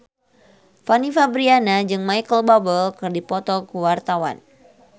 Fanny Fabriana jeung Micheal Bubble keur dipoto ku wartawan